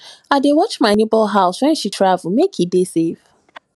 i dey watch my nebor house wen she travel make e dey safe